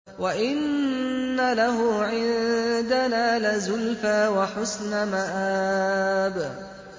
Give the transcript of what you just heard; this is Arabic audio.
وَإِنَّ لَهُ عِندَنَا لَزُلْفَىٰ وَحُسْنَ مَآبٍ